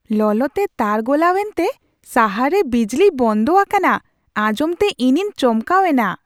ᱞᱚᱞᱚᱛᱮ ᱛᱟᱨ ᱜᱚᱞᱟᱣ ᱮᱱᱛᱮ ᱥᱟᱦᱟᱨ ᱨᱮ ᱵᱤᱡᱽᱞᱤ ᱵᱚᱱᱫᱚ ᱟᱠᱟᱱᱟ ᱟᱧᱡᱚᱢᱛᱮ ᱤᱧᱤᱧ ᱪᱚᱢᱠᱟᱣ ᱮᱱᱟ ᱾